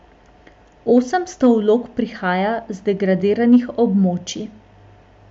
Osemsto vlog prihaja z degradiranih območij.